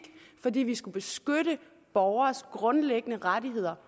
fordi vi skulle beskytte borgernes grundlæggende rettigheder